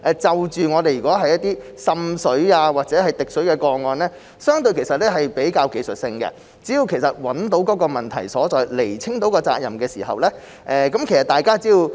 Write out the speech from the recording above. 所以，過去滲水或滴水的個案，屬於相對比較技術性，只要找到問題所在，釐清責任，做好自己的本分，很多問題也可以解決得到。